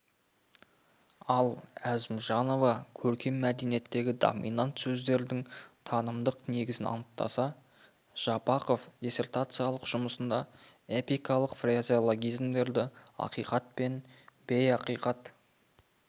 ал әзімжанова көркем мәтіндегі доминант сөздердің танымдық негізін анықтаса жапақов диссертациялық жұмысында эпикалық фразеологизмдердегі ақиқат пен бейақиқат